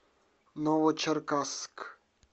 новочеркасск